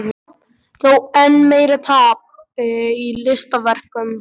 Þó enn meira tapi í listaverkum.